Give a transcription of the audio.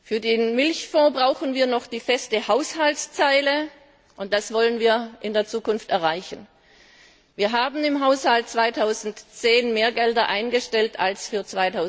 Für den Milchfonds brauchen wir noch die feste Haushaltszeile, und das wollen wir in der Zukunft erreichen. Wir haben im Haushalt 2010 mehr Gelder eingestellt als für